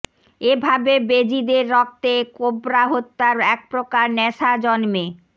এভাবে বেজিদের রক্তে কোবরা হত্যার এক প্রকার নেশা জন্মে